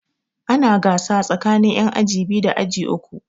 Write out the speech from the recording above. Ana gasa tsakanin yan aji biyu da aji uku.